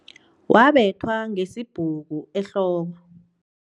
Wabethwa ngesibhuku ehloko.